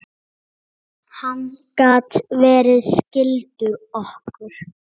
Hann gat verið skyldur okkur.